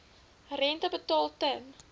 rente betaal ten